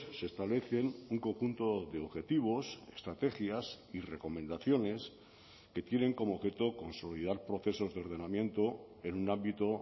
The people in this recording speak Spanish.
se establecen un conjunto de objetivos estrategias y recomendaciones que tienen como objeto consolidar procesos de ordenamiento en un ámbito